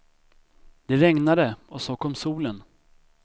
Det regnade och så kom solen.